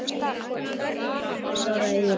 Bara svaraði ég.